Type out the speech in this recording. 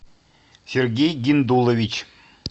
сергей гендулович